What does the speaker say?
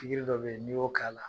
Pigiri dɔ bɛ ye n'i y'o k'a la.